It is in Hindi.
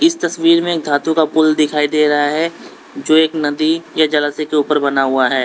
इस तस्वीर में एक धातु का पुल दिखाई दे रहा है जो एक नदी के जलाशय के ऊपर बना हुआ हैं।